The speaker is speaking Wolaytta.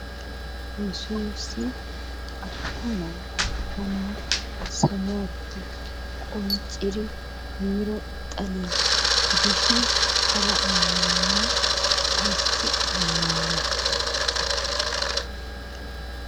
Yessuussi asaa na'a ashshanawu saluwappe qoncciri yiiro xaliyaa gidishin hara ammanuwa ayssi ammanniyo?